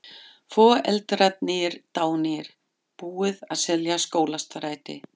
Foreldrarnir dánir, búið að selja Skólastræti.